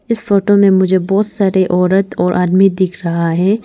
इस फोटो में मुझे बहुत सारे औरत और आदमी दिख रहा है।